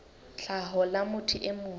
tlhaho la motho e mong